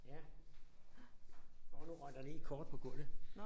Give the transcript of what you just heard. Ja. Hov nu røg der lige et kort på gulvet